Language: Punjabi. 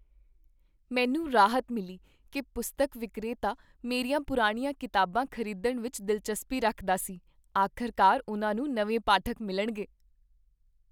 ਮੈਨੂੰ ਰਾਹਤ ਮਿਲੀ ਕੀ ਪੁਸਤਕ ਵਿਕਰੇਤਾ ਮੇਰੀਆਂ ਪੁਰਾਣੀਆਂ ਕਿਤਾਬਾਂ ਖ਼ਰੀਦਣ ਵਿੱਚ ਦਿਲਚਸਪੀ ਰੱਖਦਾ ਸੀ। ਆਖ਼ਰਕਾਰ ਉਨ੍ਹਾਂ ਨੂੰ ਨਵੇਂ ਪਾਠਕ ਮਿਲਣਗੇ।